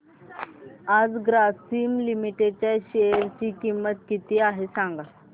आज ग्रासीम लिमिटेड च्या शेअर ची किंमत किती आहे सांगा